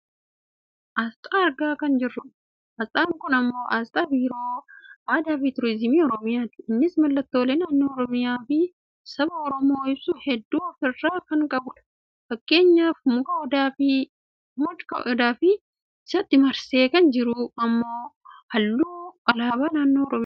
Aasxaa argaa kan jirrudha. Aasxaan kun ammoo aasxaa Biiroo Aadaa fi Turizimii Oromiyaati. Innis mallattoolee naannoo Oromiyaa fi saba Oromoo ibsu hedduu of irraa kan qabudha. Fakkeenyaaf muka Odaa fi isatti marsee kan jiru ammoo halluu alaabaa naannoo Oromiyaati.